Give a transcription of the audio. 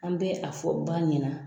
An bɛ a fɔ ba ɲɛna